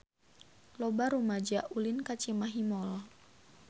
Loba rumaja ulin ka Cimahi Mall